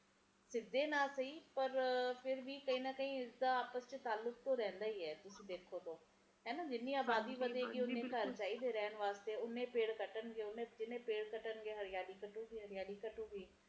ਆਪਾ ਹੀ ਲੋਕ ਆ ਰੱਬ ਨੂੰ ਕਿਸੇ ਪਾਸੇ ਛੱਡਦੇ ਨਹੀਂ